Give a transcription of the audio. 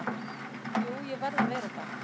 Jú ég verð að vera það.